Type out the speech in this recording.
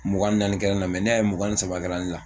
Mugan ni naani kɛra ne na ne y'a ye mugan ni saba kɛra ne la